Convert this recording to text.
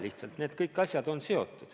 Lihtsalt need kõik asjad on seotud.